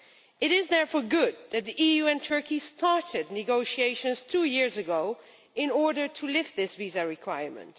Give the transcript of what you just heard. It is therefore good that the EU and Turkey started negotiations two years ago in order to lift this visa requirement.